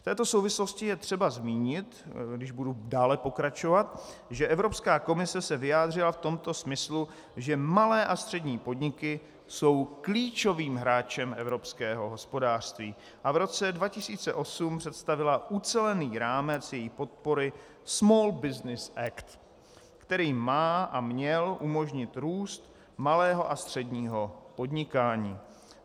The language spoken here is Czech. V této souvislosti je třeba zmínit, když budu dále pokračovat, že Evropská komise se vyjádřila v tom smyslu, že malé a střední podniky jsou klíčovým hráčem evropského hospodářství, a v roce 2008 představila ucelený rámec jejich podpory Small Business Act, který má a měl umožnit růst malého a středního podnikání.